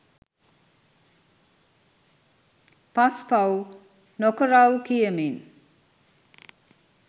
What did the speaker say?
පස් පව් නොකරවු කියමින්